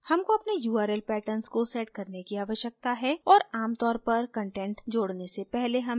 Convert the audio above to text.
हमको अपने url patterns को set करने की आवश्यकता है और add तौर पर कंटेंट जोडने से पहले हमें ऐसा करना चाहिए